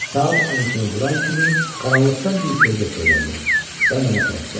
Saat 12-ni vuran kimi qaranlıqdan bir kölgə sıyrıldı və mənə tərəf gəldi.